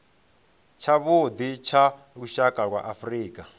tshavhuḓi tsha lushaka lwa afrika